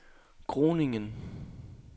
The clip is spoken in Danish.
Groningen